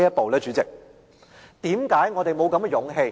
代理主席，為何我們沒有這種勇氣？